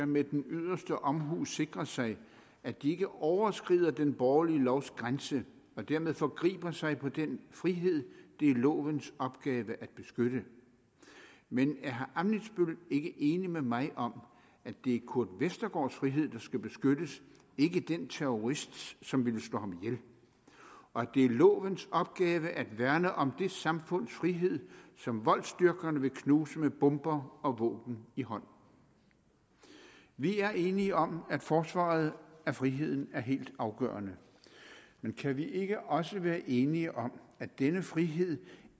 med den yderste omhu skal sikre sig at de ikke overskrider den borgerlige lovs grænse og dermed forgriber sig på den frihed det er lovens opgave at beskytte men er herre ammitzbøll ikke enig med mig om at det er kurt westergaards frihed der skal beskyttes ikke den terrorists som vil slå ham ihjel og at det er lovens opgave at værne om det samfunds frihed som voldsdyrkerne vil knuse med bomber og våben i hånd vi er enige om at forsvaret af friheden er helt afgørende men kan vi ikke også være enige om at denne frihed